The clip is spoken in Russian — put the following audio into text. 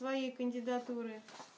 твоей кандидатуры